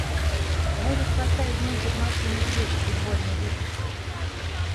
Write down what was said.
можешь поставить мультик маша и медведь футбольный выпуск